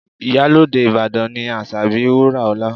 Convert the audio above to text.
Iyalode Ìbàdàn ni Asabi Wuraola